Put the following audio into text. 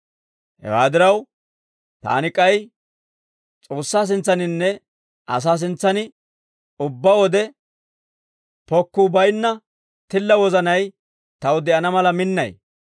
Hewaa diraw, taani k'ay, S'oossaa sintsaninne asaa sintsan ubbaa wode, pokkuu baynna tilla wozanay taw de'ana mala minnay.